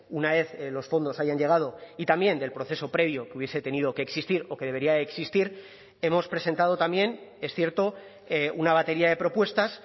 una vez los fondos hayan llegado y también del proceso previo que hubiese tenido que existir o que debería de existir hemos presentado también es cierto una batería de propuestas